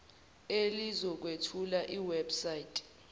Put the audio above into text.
elizokwethula iweb site